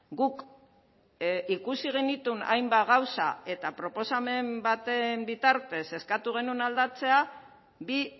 guk ikusi genituen hainbat gauza eta proposamen baten bitartez eskatu genuen aldatzea bi